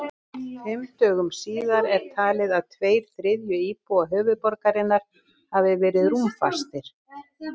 Fimm dögum síðar er talið að tveir þriðju íbúa höfuðborgarinnar hafi verið rúmfastir.